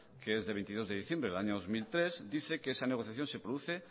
que es de veintidós de diciembre del año dos mil tres dice que esa negociación se produce